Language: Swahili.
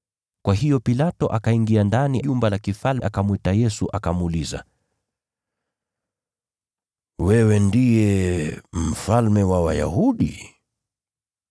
Kwa hiyo Pilato akaingia ndani ya jumba la kifalme, akamwita Yesu, akamuuliza, “Wewe ndiye mfalme wa Wayahudi?”